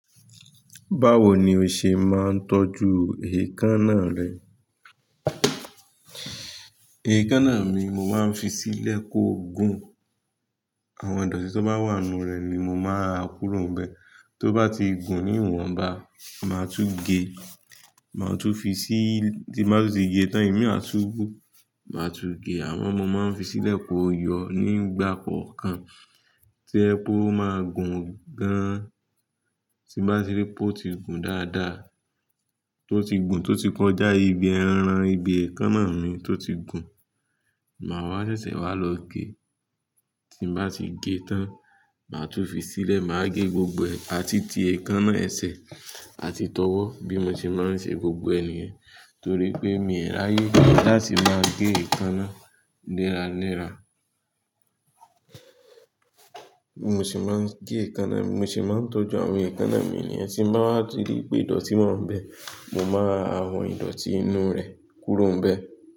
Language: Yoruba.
Báwo ni o ṣe máa ń tọ́jú èékánná rẹ? Èékánná mi, mo máa ń fi sílẹ̀ kó gùn. Àwọn ìdọ̀tí tó bá wà nínú rẹ̀ ni mo máa ń a kuro n bẹ. Tó bá ti gùn ní ìwọ̀nba, màá tún gé. Màá tún fi sí, tí bá ti gé tán, èmi máa túún gùn. Màá tún gé. Àwọn ọmọ máa ń fi sílẹ̀ kó yọ nígbà kọ̀ọ̀kan. Tío jẹpe o máa gùn gan-an, tí bá ti rí pé ó ti gùn dáadáa, tó ti gùn, tó ti kọjá ibi ẹran, ibi èékánná mi tó ti gùn, màá wá ṣẹ̀ṣẹ̀ wá lọ gé. Tí n bá ti gé tán, màá tún fi sílẹ̀, màá gé gbogbo ẹ̀, àti ti èékánná ẹsẹ̀, àti tọwọ́ bí mo ṣe máa ń ṣe gbogbo niyẹn. Torí pé èmi o rayé láti máa ń gé èékánná léra léra. Mo sì máa ń gé èékánná mi. Mo sì máa ń tọ́jú àwọn èékánná mi nìyẹn. Tí bá wá ti rí pé ìdọ̀tí wáa ń bẹ, mo máa a awọn ìdọ̀tí inú rẹ̀ kúrò bẹ́ẹ̀